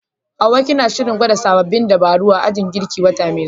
Hawwa, kina shirin gwada sabbin dabaru a ajin girkinki wata mai zuwa?